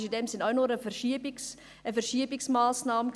Es ist in diesem Sinne auch bloss eine Verschiebungsmassnahme.